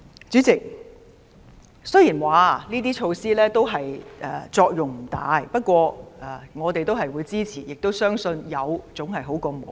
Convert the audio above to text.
主席，雖然說這些措施作用不大，但我們都會支持，亦相信有總好過沒有。